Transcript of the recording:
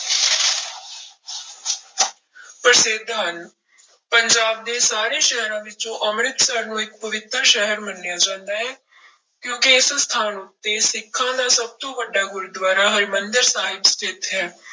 ਪ੍ਰਸਿੱਧ ਹਨ, ਪੰਜਾਬ ਦੇ ਸਾਰੇ ਸ਼ਹਿਰਾਂ ਵਿੱਚੋਂ ਅੰਮ੍ਰਿਤਸਰ ਨੂੰ ਇੱਕ ਪਵਿੱਤਰ ਸ਼ਹਿਰ ਮੰਨਿਆ ਜਾਂਦਾ ਹੈ ਕਿਉਂਕਿ ਇਸ ਸਥਾਨ ਉੱਤੇ ਸਿੱਖਾਂ ਦਾ ਸਭ ਤੋਂ ਵੱਡਾ ਗੁਰਦੁਆਰਾ ਹਰਿਮੰਦਰ ਸਾਹਿਬ ਸਥਿੱਤ ਹੈ।